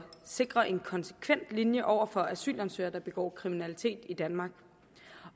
sikre en konsekvent linje over for asylansøgere der begår kriminalitet i danmark